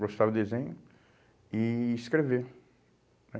Gostava de desenho e escrever.